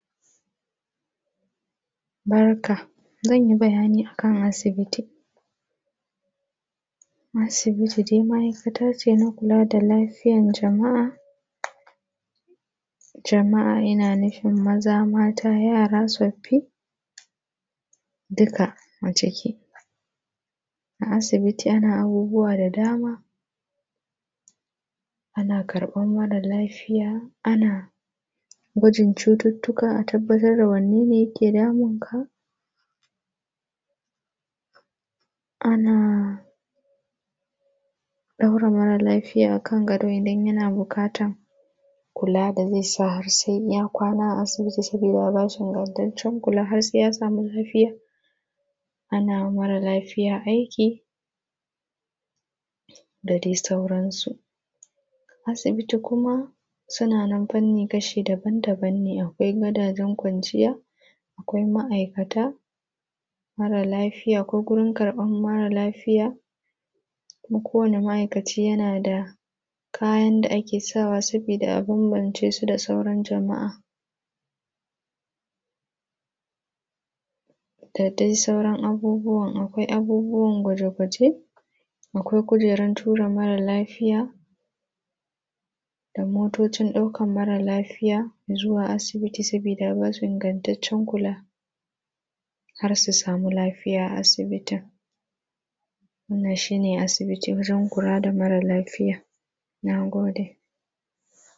Barka. Zan yi bayani a kan asibiti. Asibiti dai ma’aikata ce na kula da lafiyan jama’a. Jama’a ina nufin maza, mata, yara, tsoffi, duka a ciki. A asibiti ana abubuwa da dama. Ana karɓan mara lafiya; ana gwajin cututtuka a tabbatar da wanne ne yake damun ka; ana ɗora mara lafiya kan gado idan yana buƙatan kula da zai sa har sai ya kwana a asibiti sabida a ba shi ingantaccen kula har sai ya samu lafiya ana wa mara lafiya aiki; da dai sauransu. Asibiti kuma suna nan fanni kashi daban-daban ne. Akwai gadajen kwanciya; akwai ma’aikata; mara lafiya ko gurin karɓan mara lafiya; kuma kowane ma’aikaci yana da kayan da ake sawa sabida a bambance su da sauran jama’a, da dai sauran abubuwan. Akwai abubuwan gwaje-gwaje; akwai kujeran tura mara lafiya; da motocin ɗaukan mara lafiya zuwa asibiti sabida a ba su ingantaccen kula har su sami lafiya a asibitin. Wannan shi ne asibiti wurin kula da mara lafiya. Na gode.